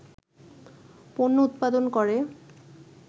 পণ্য উৎপাদন করে